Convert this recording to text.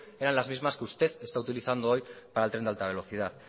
eran las mismas que usted está utilizando hoy para el tren de alta velocidad